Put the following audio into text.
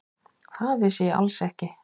Það vissi ég alls ekki.